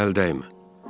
Mənə əl dəymə.